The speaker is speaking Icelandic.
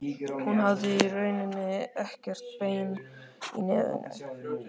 Hún hafði í rauninni ekkert bein í nefinu.